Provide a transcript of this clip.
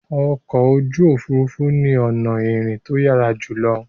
Ọkọ̀ ojú òfurufú ni ọ̀nà ìrìn tó yára jùlọ